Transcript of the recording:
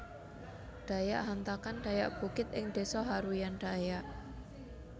Dayak Hantakan Dayak Bukit ing desa Haruyan Dayak